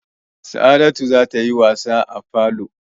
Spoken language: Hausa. Sa'adatu za ta yi wasa a falo.